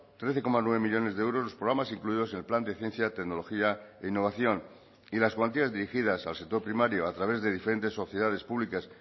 trece coma nueve millónes de euros los programas incluidos el plan de ciencia tecnología e innovación y las cuantías dirigidas al sector primario a través de diferentes sociedades públicas